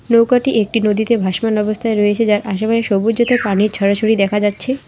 নৌকাটি একটি নদীতে ভাসমান অবস্থায় রয়েছে যার আশেপাশে সবুজ ও তার পানির ছড়াছড়ি দেখা যাচ্ছে।